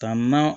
Ka na